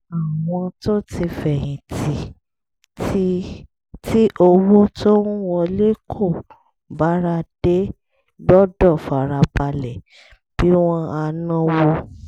àwọn tó ti fẹ̀yìn tì tí owó tó ń wọlé kò bára dé gbọ́dọ̀ fara balẹ̀ bí wọ́n á náwó